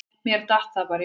Mér datt það bara í hug.